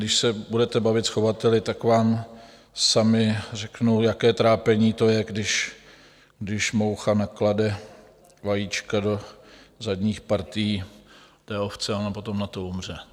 Když se budete bavit s chovateli, tak vám sami řeknou, jaké trápení to je, když moucha naklade vajíčka do zadních partií té ovce a ona potom na to umře.